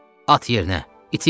At yerinə, itil!